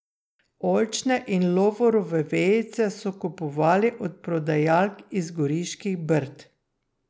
Oljčne in lovorove vejice so kupovali od prodajalk iz Goriških brd.